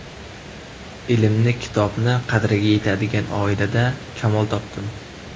Ilmni, kitobni qadriga yetadigan oilada kamol topdim.